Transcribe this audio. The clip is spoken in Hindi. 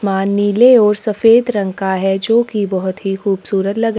आसमान नीले और सफेद रंग का है जो की बहोत ही खुबसूरत लग --